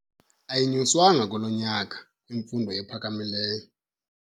Intlawulo yesikolo ayinyuswanga kulo nyaka kwimfundo ephakamileyo.